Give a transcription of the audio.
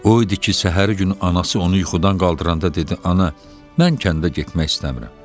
O idi ki, səhəri gün anası onu yuxudan qaldıranda dedi: “Ana, mən kəndə getmək istəmirəm.”